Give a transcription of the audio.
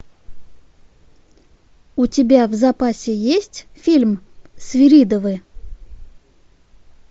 у тебя в запасе есть фильм свиридовы